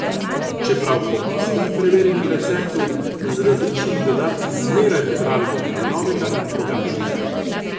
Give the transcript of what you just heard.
Čeprav po istem preverjenem receptu, z različnimi dodatki zmeraj pripravimo nekaj novega in drugačnega.